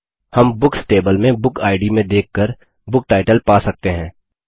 हम books table में बुकिड में देख कर बुकटाइटल पा सकते हैं